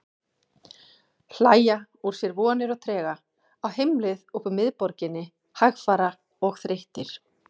Hlæja úr sér vonir og trega, á heimleið upp úr miðborginni, hægfara og þreyttir.